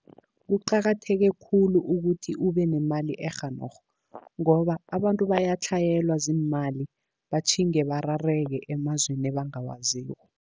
Kuqakatheke khulu ukuthi ube nemali e-genog, ngoba abantu bayatlhayelwa ziimali batjhinge barareke emazweni ebangawaziko.